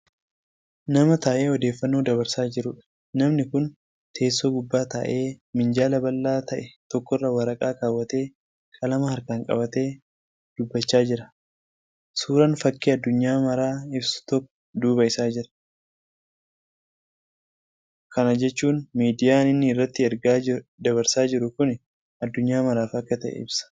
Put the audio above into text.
Nama taa'ee odeeffannoo dabarsaa jiruudha. namni Kuni teessoo gubbaa taa'ee, minjaala bal'aa ta'e tokkorra waraqaa kaawwatee, qalama harkaan qabatee, dubbachaa jira. suuraan fakki addunyaa maaraa ibsu tokko duuba Isaa jira. kan jechuun miidiyaan inni irratti ergaa dabarsaa jiru Kuni addunyaa maraaf Akka ta'e ibsa.